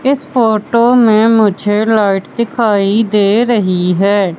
इस फोटो में मुझे लाइट दिखाई दे रहीं हैं।